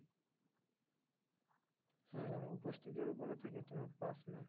হ্যাঁ হ্যাঁ উপস্থিতির উপরে থাকে তোমার pass marks.